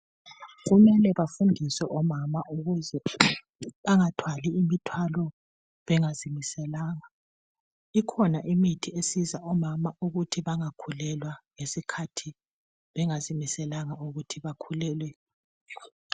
Kumele bafundiswe omama ukuze bangathwali imithwalo bengazimiselanga. Ikhona imithi esiza omama ukuthi bangakhulelwa ngesikhathi bengazimiselanga ukuthi bakhulelwe.